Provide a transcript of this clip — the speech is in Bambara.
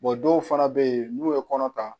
dɔw fana bɛ yen n'u ye kɔnɔ ta